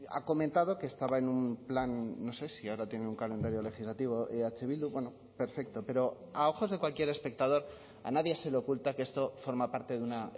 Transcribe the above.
ha comentado que estaba en un plan no sé si ahora tiene un calendario legislativo eh bildu perfecto pero a ojos de cualquier espectador a nadie se le oculta que esto forma parte de una